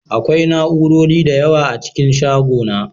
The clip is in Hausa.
Akwai na'urori da yawa a cikin shagona